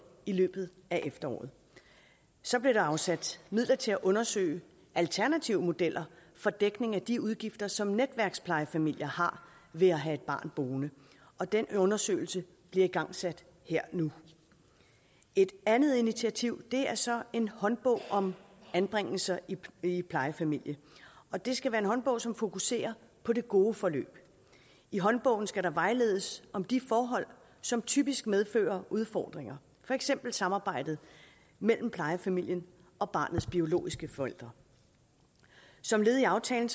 i løbet af efteråret så blev der afsat midler til at undersøge alternative modeller for dækning af de udgifter som netværksplejefamilier har ved at have et barn boende og den undersøgelse bliver igangsat her nu et andet initiativ er så en håndbog om anbringelser i plejefamilie og det skal være en håndbog som fokuserer på det gode forløb i håndbogen skal der vejledes om de forhold som typisk medfører udfordringer for eksempel samarbejdet mellem plejefamilien og barnets biologiske forældre som led i aftalen